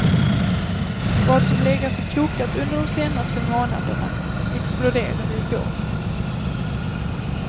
Vad som legat och kokat under de senaste månaderna exploderade i går.